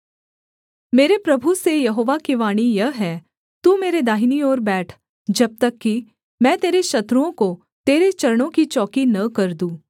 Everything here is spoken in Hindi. मेरे प्रभु से यहोवा की वाणी यह है तू मेरे दाहिने ओर बैठ जब तक कि मैं तेरे शत्रुओं को तेरे चरणों की चौकी न कर दूँ